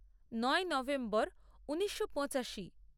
নয় নভেম্বর ঊনিশো পঁচাশি